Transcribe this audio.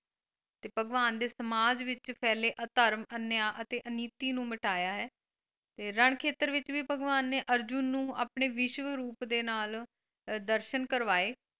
ਤੇ ਭਗਵਾਨ ਦੇ ਸਮਾਜ ਵਿੱਚ ਫੈਲੇ ਅਧਰਮ ਅਨਿਆ ਅਤੇ ਅਨੀਤੀ ਨੂੰ ਮਿਟਾਇਆ ਹੈ ਤੇ ਰਨਖੇਤਰ ਵਿੱਚ ਵੀ ਭਗਵਾਨ ਨੇ ਅਰਜੁਨ ਨੂੰ ਆਪਣੇ ਵਿਸ਼ਵ ਰੂਪ ਦੇ ਨਾਲ ਦਰਸ਼ਨ ਕਰਵਾਏ।